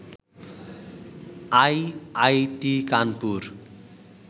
IIT Kanpur